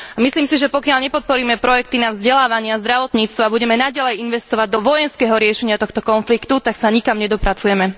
Myslím si, že pokiaľ nepodporíme projekty na vzdelávanie a zdravotníctvo a budeme naďalej investovať do vojenského riešenia tohto konfliktu, tak sa nikam nedopracujeme.